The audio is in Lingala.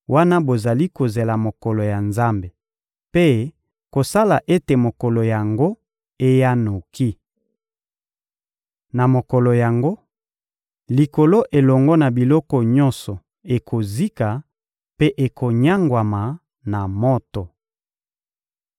wana bozali kozela mokolo ya Nzambe mpe kosala ete mokolo yango eya noki. Na mokolo yango, Likolo elongo na biloko nyonso ekozika mpe ekonyangwama na moto.